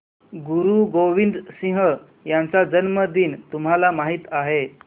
गुरु गोविंद सिंह यांचा जन्मदिन तुम्हाला माहित आहे